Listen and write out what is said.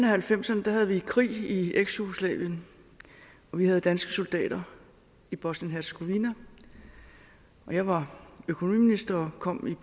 halvfems ’erne havde vi krig i eksjugoslavien og vi havde danske soldater i bosnien hercegovina jeg var økonomiminister og kom